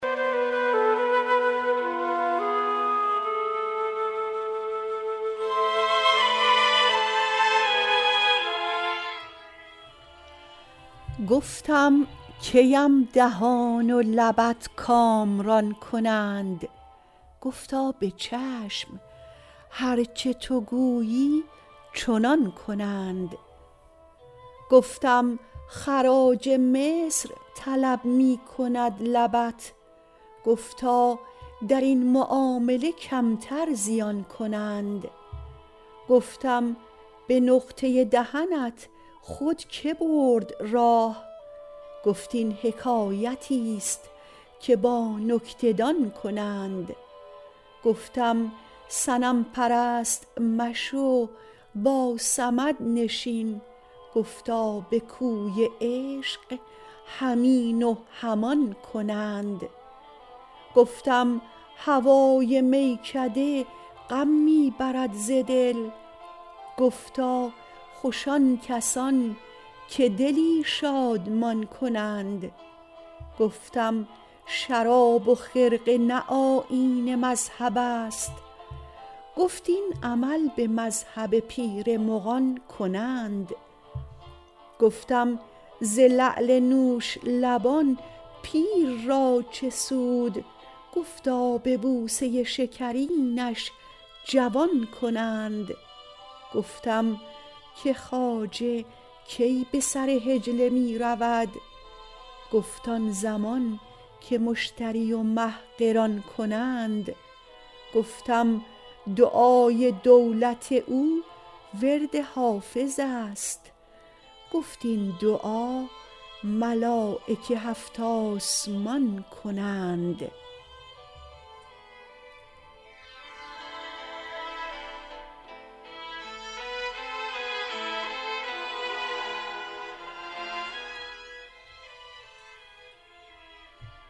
گفتم کی ام دهان و لبت کامران کنند گفتا به چشم هر چه تو گویی چنان کنند گفتم خراج مصر طلب می کند لبت گفتا در این معامله کمتر زیان کنند گفتم به نقطه دهنت خود که برد راه گفت این حکایتیست که با نکته دان کنند گفتم صنم پرست مشو با صمد نشین گفتا به کوی عشق هم این و هم آن کنند گفتم هوای میکده غم می برد ز دل گفتا خوش آن کسان که دلی شادمان کنند گفتم شراب و خرقه نه آیین مذهب است گفت این عمل به مذهب پیر مغان کنند گفتم ز لعل نوش لبان پیر را چه سود گفتا به بوسه شکرینش جوان کنند گفتم که خواجه کی به سر حجله می رود گفت آن زمان که مشتری و مه قران کنند گفتم دعای دولت او ورد حافظ است گفت این دعا ملایک هفت آسمان کنند